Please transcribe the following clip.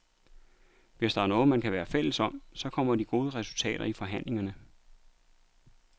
Hvis der er noget, man kan være fælles om, så kommer de gode resultater i forhandlingerne.